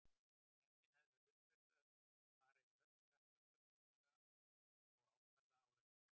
Nefndin hafði það hlutverk að fara yfir öll skattframtöl Hólmara og ákvarða álagningu.